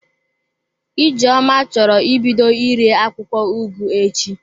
Ijeoma choro ibido ire akwụkwọ ugu echi.